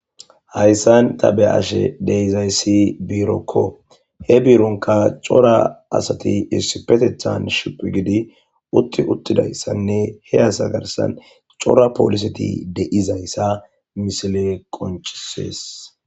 Hayisan ta beashe dizayis birokko he biro gidonka cora asati issippetetan shiiqidi uti utidayisanne he asa garisan cora poliseti dizayisa ha missile qoncises.